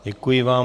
Děkuji vám.